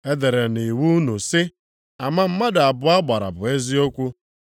E dere nʼiwu unu sị, ‘ama mmadụ abụọ gbara bụ eziokwu.’